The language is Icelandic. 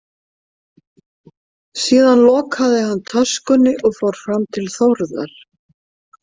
Síðan lokaði hann töskunni og fór fram til Þórðar.